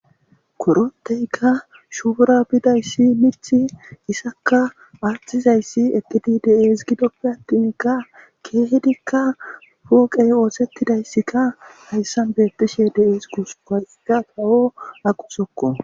Koroteyka shuura bidayssi mith isakka aattizayssi ekidi dees gidoppe attinka keehidikka pooqey oosettidayssika hayssan beettishe de7ees gusupayka tawo aquthokko.